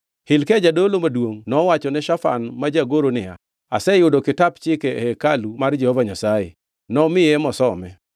Hilkia jadolo maduongʼ nowachone Shafan ma jagoro niya, “Aseyudo kitap chike e hekalu mar Jehova Nyasaye.” Nomiye mosome.